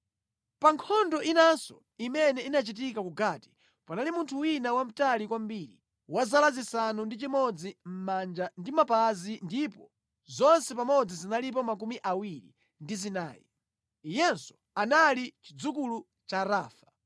Pa nkhondo inanso imene inachitika ku Gati, panali munthu wina wamtali kwambiri, wa zala zisanu ndi chimodzi mʼmanja ndi mʼmapazi ndipo zonse pamodzi zinalipo 24. Iyenso anali chidzukulu cha Rafa.